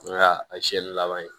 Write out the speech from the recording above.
N ka a seyɛli laban ye